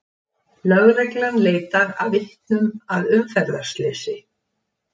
Lögreglan leitar að vitnum að umferðarslysi